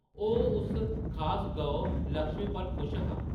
ओह्‌‌ उस खास गौ, लक्ष्मी पर खुश हा ।